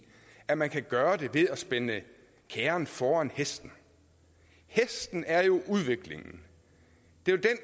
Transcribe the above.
at man kan gøre det ved at spænde kærren foran hesten hesten er jo udviklingen det